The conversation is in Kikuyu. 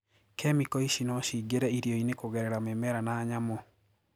Kemiko ici noo ciingire irioini kugereara mimera na nyamu.